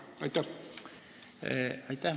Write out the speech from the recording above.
Aitäh!